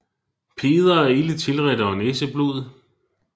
Peder er ilde tilredt og har næseblod